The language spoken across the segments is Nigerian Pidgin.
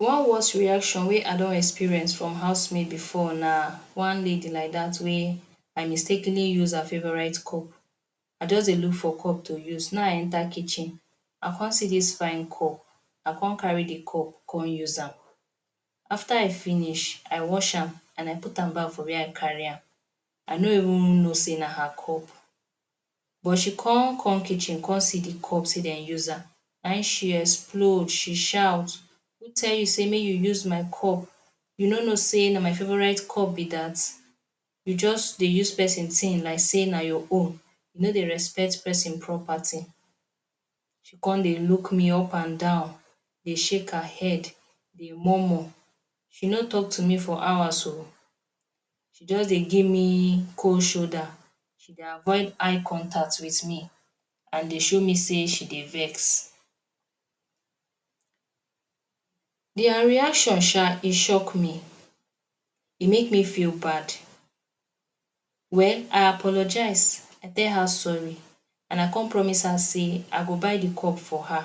One worse reaction wey I don experience from housemaid before na one maid like dat wey I mistakenly use her favourite cup. I just dey look for cup to use na im I enter kitchen I come see dis fine cup I come carry de cup con use am. After I finish I wash am and I put am back from where I carry am. I no even know sey na her cup but she con come kitchen con see de cup sey dem use am na im she explode, she shout "who tell you sey make you use my cup, you no know sey na my favourite cup be dat you just dey use person thing like sey na your own, you no dey respect person property", she con dey look me up and down dey shake her head dey murmur, she no talk to me for hours oo. She just dey give me cold shoulder, she dey avoid eye contact wit me and dey show me say she dey vex. Their reaction sha e shock me, e make me feel bad. Well, I apologise and tell her sorry and I con promise her sey I go buy new cup for her.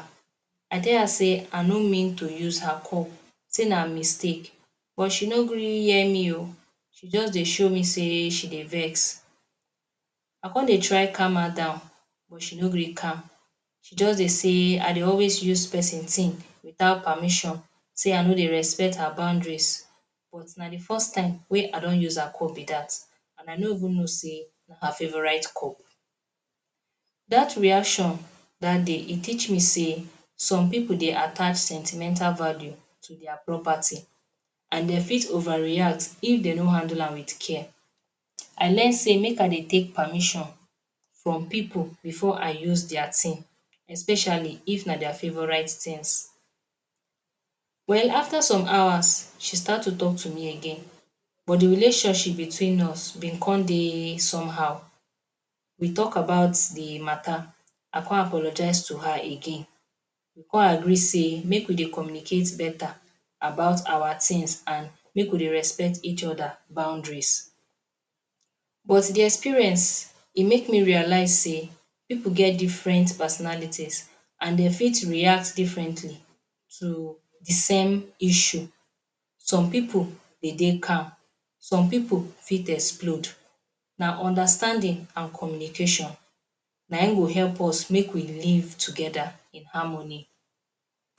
I tell her say I no mean to use her cup sey na mistake but she no gree hear me oo, she just dey show me say she dey vex. I con dey try calm her down but she no gree calm, she just dey sey I dey always use person thing without permission, sey I no dey respect her boundaries but na de first time wey I don use her cup be dat and I no even know sey na her favourite cup. Dat reaction dat day, e teach me sey some people dey attach sentimental value to their property and dey fit overreact if dey no handle am wit care, I learn sey make I dey take permission from pipu beforeIi use their thing especially if na their favourite things. Well after some hours, she start to talk to me again but de relationship between us been con dey somehow, we talk about de matter and I con apologise to her again. We con agree sey make we dey communicate better about our things and make we dey respect each other boundaries. But de experience make me realise sey pipu get different personalities and dey fit react differently to de same issue. Some pipu dey dey calm, some pipu fit explode. Na understanding and communication na im go help us make we dey live together in harmony.